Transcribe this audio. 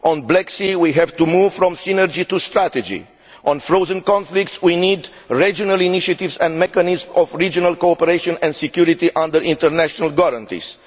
On the Black Sea, we have to move from synergy to strategy. On frozen conflicts, we need regional initiatives and mechanisms of regional cooperation and security under international guarantees.